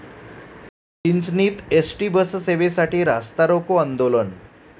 चिंचणीत ST बससेवेसाठी रास्तारोको आंदोलन